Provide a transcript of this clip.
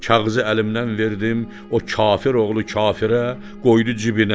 Kağızı əlimdən verdim, o kafir oğlu kafirə, qoydu cibinə.